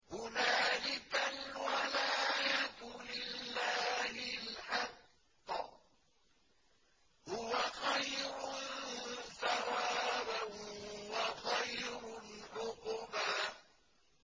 هُنَالِكَ الْوَلَايَةُ لِلَّهِ الْحَقِّ ۚ هُوَ خَيْرٌ ثَوَابًا وَخَيْرٌ عُقْبًا